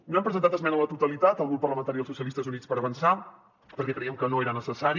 no hem presentat esmena a la totalitat el grup parlamentari dels socialistes i units per avançar perquè crèiem que no era necessari